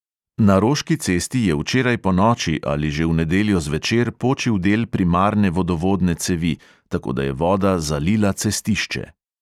Na roški cesti je včeraj ponoči ali že v nedeljo zvečer počil del primarne vodovodne cevi, tako da je voda zalila cestišče.